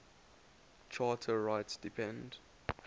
charter rights depend